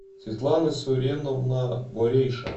светлана суреновна борейша